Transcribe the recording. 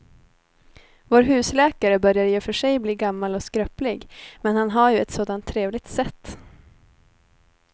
Vår husläkare börjar i och för sig bli gammal och skröplig, men han har ju ett sådant trevligt sätt!